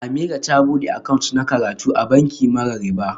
Ameerah ta bude account na karatu a banki mara riba